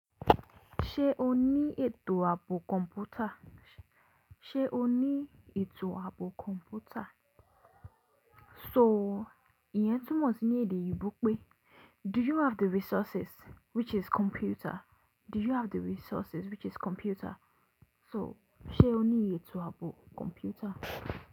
Ṣé o ní ètò ààbò kọ̀m̀pútà? Ṣé o ní ètò ààbò kọ̀m̀pútà? So ìyẹn túmọ̀ sí ní èdè òyìnbó pé, do you have the resources which is computer? Do you have the resources which is computer? So, ṣe o ní ètò ààbò kọ̀m̀pútà?